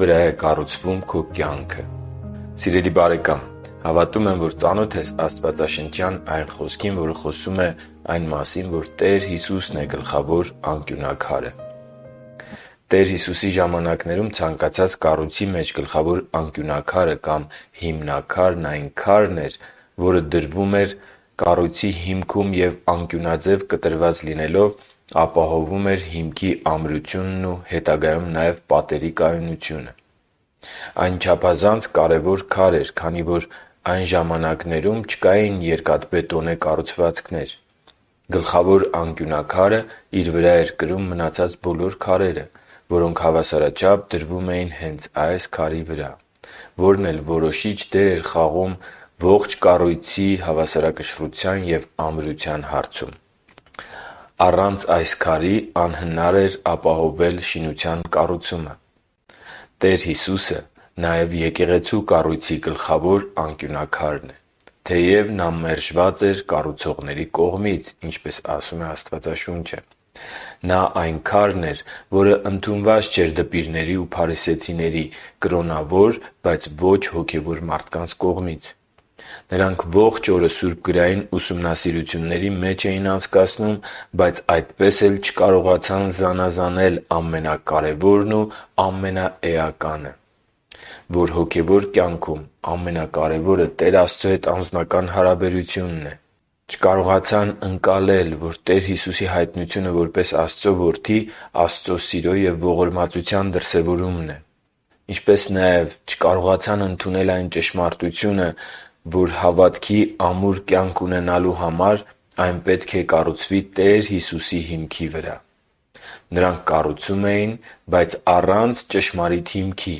վրա է կառուցվում քո կյանքը Սիրելի՛ բարեկամ, հավատում եմ՝ ծանոթ ես աստվածաշնչյան այն խոսքին, որ Հիսուսն է գլխավոր անկյունաքարը։ Տեր Հիսուսի ժամանակներում ցանկացած կառույցի մեջ գլխավոր անկյունաքարը կամ հիմնաքարն այն քարն է, որը դրվում էր կառույցի հիմքում և անկյունաձև կտրված լինելով, ապահովում էր հիմքի ամրությունն ու հետագայում նաև պատերի կայունությունը։ Այն չափազանց կարևոր քար էր, քանի որ այն ժամանակներում չկային երկաթբետոնե կառուցվածքներ։ Գլխավոր անկյունաքարը իր վրա էր կրում մնացած բոլոր քարերը, որոնք հավասարաչափ դրվում են հենց այս քարի վրա, որն էլ որոշիչ դեր է խաղում ողջ կառույցի հավասարակշռության և ամրության հարցում։ Առանց այս քարի անհնար էր ապահովել շինության կառուցումը։ Տեր Հիսուսը նաև Եկեղեցու կառույցի գլխավոր անկյունաքարն է, թեև Նա մերժված էր կառուցողների կողմից։ Նա այն քարն էր, որն ընդունված չէր դպիրների ու փարիսեցիների՝ կրոնավոր, բայց ոչ հոգևոր մարդկանց կողմից։ Նրանք ողջ օրը սուրբգրային ուսումնասիրությունների մեջ էին անցկացնում, բայց այդպես էլ չկարողացան զանազանել ամենակարևորն ու ամենաէականը, որ․․. - Հոգևոր կյանքում ամենակարևորը Տեր Աստծո հետ անձնական հարաբերությունն է։ - Տեր Հիսուսի հայտնությունը որպես Աստծո Որդի Աստծո սիրո և ողորմածության դրսևորումն է։ - Հավատքի ամուր կյանք ունենալու համար այն պետք է կառուցվի Տեր Հիսուսի հիմքի վրա։ Նրանք կառուցում էին, բայց առանց ճշմարիտ հիմքի։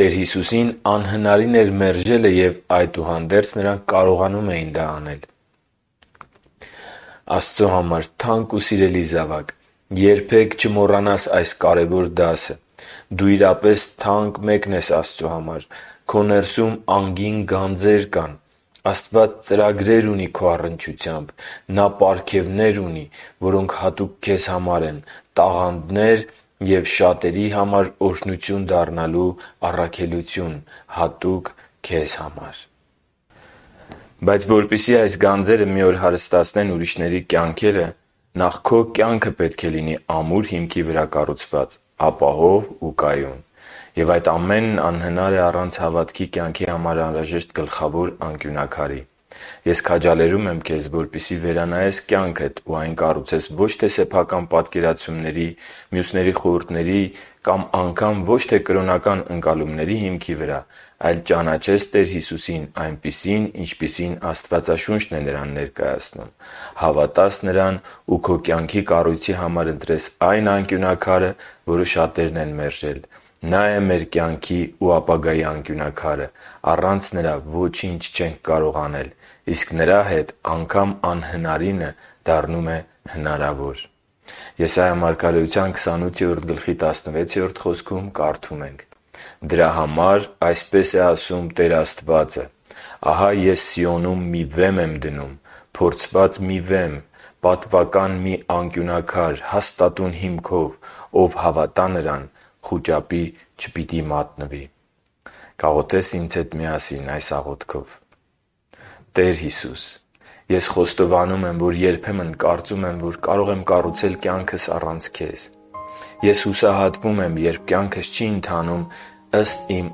Տեր Հիսուսին անհնարին էր մերժելը, և, այդուհանդերձ, նրանք կարողանում էին անել դա։ Աստծո համար թանկ ու սիրելի՛ զավակ, երբե՛ք չմոռանաս այս կարևոր դասը։ Դու իրապես թանկ մեկն ես Աստծո համար: Քո ներսում անգին գանձեր կան՝ Աստված ծրագրեր ունի քո առնչությամբ, Նա պարգևներ ունի, որոնք հատուկ քեզ համար են, տաղանդներ և շատերի համար օրհնություն դառնալու քո առաքելությունը։ Բայց, որպեսզի այս գանձերը մի օր հարստացնեն ուրիշների կյանքերը, նախ քո կյանքը պետք է լինի ամուր հիմքի վրա կառուցված, ապահով ու կայուն։ Եվ այդ ամենն անհնար է առանց հավատքի կյանքի համար անհրաժեշտ գլխավոր անկյունաքարի։ Ես քաջալերում եմ քեզ, որպեսզի վերանայես կյանքդ ու այն կառուցես՝ ոչ թե սեփական պատկերացումների, մյուսների խորհուրդների կամ անգամ ոչ թե կրոնական ընկալումների հիմքի վրա, այլ ճանաչես Տեր Հիսուսին այնպիսին, ինչպիսին Աստվածաշունչն է Նրան ներկայացնում, հավատաս Նրան ու քո կյանքի կառույցի համար ընտրես այն Անկյունաքարը, որը շատերն են մերժել։ Նա՛ է մեր կյանքի ու ապագայի անկյունաքարը։ Առանց Նրա ոչինչ չենք կարող անել, իսկ Նրա հետ՝ անգամ անհնարինը դառնում է հնարավոր։ Եսայիա 28.16 խոսքում կարդում ենք. «Դրա համար այսպես է ասում Տեր Աստվածը. «Ահա Ես Սիոնում մի վեմ եմ դնում, փորձված մի վեմ, պատվական մի անկյունաքար հաստատուն հիմքով. ով հավատա Նրան, խուճապի չպիտի մատնվի»։ Կաղոթե՞ս ինձ հետ այս աղոթքով․ «Տե՛ր Հիսուս, ես խոստովանում եմ, որ երբեմն կարծում եմ, որ կարող եմ կառուցել կյանքս առանց Քեզ։ Եվ հուսահատվում եմ, երբ կյանքս չի ընթանում ըստ իմ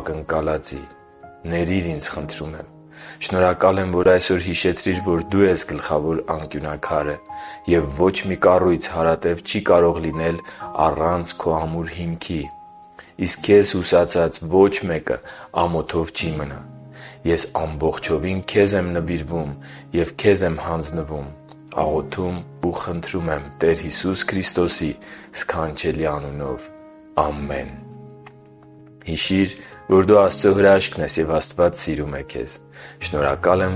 ակնկալածի։ Ներիր ինձ, խնդրում եմ։ Շնորհակալ եմ, որ այսօր հիշեցրիր, որ Դու ես գլխավոր անկյունաքարը, և ոչ մի կառույց հարատև չի կարող լինել առանց Քո ամուր հիմքի։ Իսկ Քեզ հուսացած ոչ մեկը ամոթով չի մնա։ Ես ամբողջովին Քեզ եմ նվիրվում ու Քեզ եմ հանձնվում։ Աղոթում ու խնդրում եմ Տեր Հիսուս Քրիստոսի սքանչելի անունով։ Ամե՛ն»։ Հիշի՛ր, որ դու Աստծո հրաշքն ես, և Աստված սիրում է քեզ։ Շնորհակալ եմ,